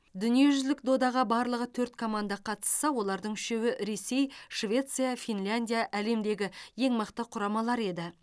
дүниежүзілік додаға барлығы төрт команда қатысса бұлардың үшеуі ресей швеция финляндия әлемдегі ең мықты құрамалар еді